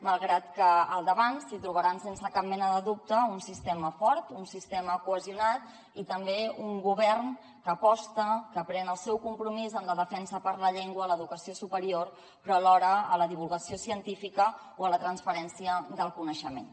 malgrat que al davant s’hi trobaran sense cap mena de dubte un sistema fort un sistema cohesionat i també un govern que aposta que pren el seu compromís en la defensa per la llengua a l’educació superior però alhora en la divulgació científica o en la transferència del coneixement